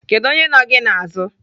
Kedụ onye nọ gị n'azụ?